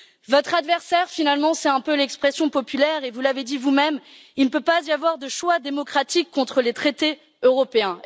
Votre adversaire, finalement, c'est un peu l'expression populaire, et vous l'avez dit vous même, il ne peut pas y avoir de choix démocratique contre les traités européens.